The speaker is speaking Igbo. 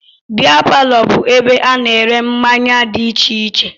Bịa palọ bụ ebe ana ere mmanya dị iche iche.